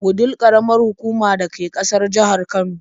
Wudil ƙaramar hukuma da ke ƙasan jihar Kano.